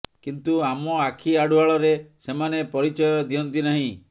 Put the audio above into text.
କିନ୍ତୁ ଆମ ଆଖି ଆଢୁଆଳରେ ସେମାନେ ପରିଚୟ ଦିଅନ୍ତି ନାହିଁ